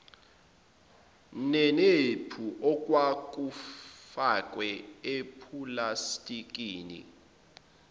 neniphu okwakufakwe epulastikini